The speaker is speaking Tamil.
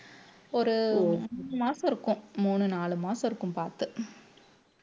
ஒரு மூணு மாச இருக்கும் மூணு நாலு மாசம் இருக்கும் பாத்து